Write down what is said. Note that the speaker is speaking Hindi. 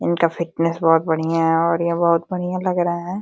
इनका फिटनेस बहुत बढ़िया है और ये बहुत बढ़िया लग रहे हैं।